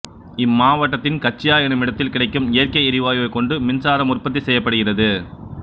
இம்மாவட்டத்தின் கச்சியா எனுமிடத்தில் கிடைக்கும் இயற்கை எரிவாயுவைக் கொண்டு மின்சாரம் உற்பத்தி செய்யப்படுகிறது